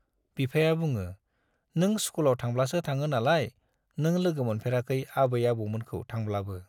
बिफाया बुङो, नों स्कुलाव थांब्लासो थाङो नालाय नों लोगो मोनफेराखै आबै आबौमोनखौ थांब्लाबो।